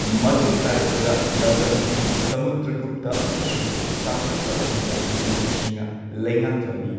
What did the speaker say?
ꯃꯇꯨꯡ ꯇꯥꯔꯛꯄꯗ ꯂꯝꯗꯝ ꯑꯁꯤ ꯁꯃꯨꯗ꯭ꯔꯒꯨꯞꯇ ꯑꯃꯁꯨꯡ ꯁꯁꯪꯀꯒꯨꯝꯕ ꯅꯤꯡꯊꯧꯁꯤꯡꯅ ꯂꯩꯉꯥꯛꯂꯝꯃꯤ꯫